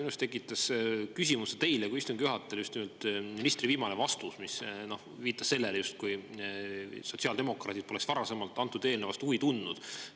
Minus tekitas küsimuse teile kui istungi juhatajale just nimelt ministri viimane vastus, mis viitas sellele, justkui sotsiaaldemokraadid poleks varasemalt selle eelnõu vastu huvi tundnud.